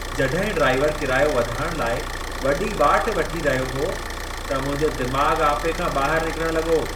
जॾहिं ड्राइवर कीरायो वधाइण लाइ वॾी वाट वठी रहियो हो, त मुंहिंजो दिमाग़ु आपे खां ॿाहिरु निकिरण लॻो।